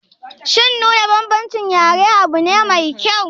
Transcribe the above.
Shin nuna bambancin yare abune mai kyau?